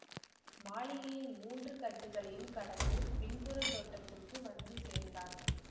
மாளிகையின் மூன்று கட்டுக்களையும் கடந்து பின்புறத் தோட்டத்துக்கு வந்து சேர்ந்தான்